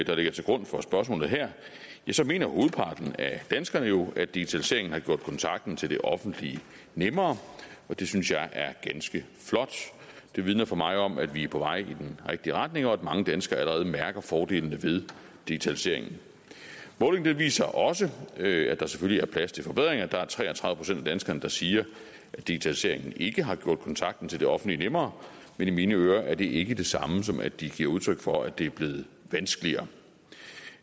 der ligger til grund for spørgsmålet her mener hovedparten af danskerne jo at digitaliseringen har gjort kontakten til det offentlige nemmere og det synes jeg er ganske flot det vidner for mig om at vi er på vej i den rigtige retning og at mange danskere allerede mærker fordelene ved digitaliseringen målingen viser også at der selvfølgelig er plads til forbedringer der er tre og tredive procent af danskerne der siger at digitaliseringen ikke har gjort kontakten til det offentlige nemmere men i mine ører er det ikke det samme som at de giver udtryk for at det er blevet vanskeligere